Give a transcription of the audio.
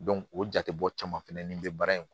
o jate bɔ caman fɛnɛ nin bɛ baara in